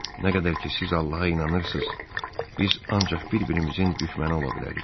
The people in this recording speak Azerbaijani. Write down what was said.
Nə qədər ki siz Allaha inanırsız, biz ancaq bir-birimizin düşməni ola bilərik.